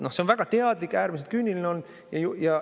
See on väga teadlik ja äärmiselt küüniline.